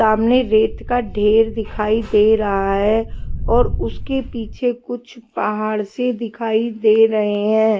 सामने रेत का ढेर दिखाई दे रहा है और उसके पीछे कुछ पहाड़ से दिखाई दे रहे हैं।